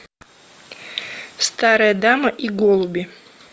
старая дама и голуби